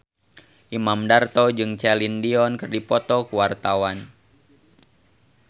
Imam Darto jeung Celine Dion keur dipoto ku wartawan